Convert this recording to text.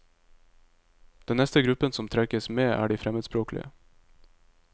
Den neste gruppen som trekkes med, er de fremmedspråklige.